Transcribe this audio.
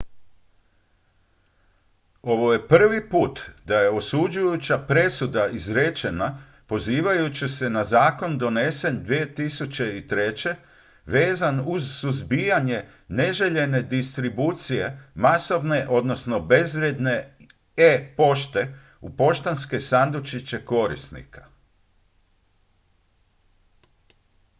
ovo je prvi put da je osuđujuća presuda izrečena pozivajući se na zakon donesen 2003. vezan uz suzbijanje neželjene distribucije masovne odnosno bezvrijedne e-pošte u poštanske sandučiće korisnika